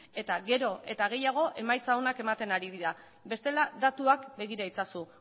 eta gero eta gehiago emaitza onak ematen ari dira bestela datuak begira itzazu